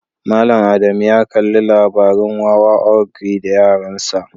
Mallam Ada mu ya Kalli labarin Wawa ogre da yaransa.